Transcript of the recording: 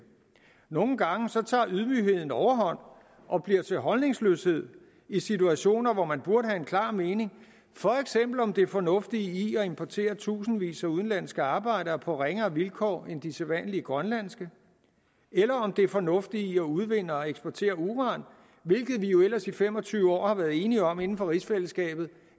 nogle gange tager ydmygheden overhånd og bliver til holdningsløshed i situationer hvor man burde have en klar mening for eksempel om det fornuftige i at importere tusindvis af udenlandske arbejdere på ringere vilkår end de sædvanlige grønlandske eller om det fornuftige i at udvinde og eksportere uran hvilket vi jo ellers i fem og tyve år har været enige om inden for rigsfællesskabet